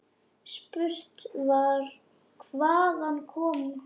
Spurt var: Hvaðan kom hann.